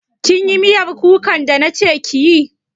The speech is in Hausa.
Kin yi miyar kukan da na ce kiyi?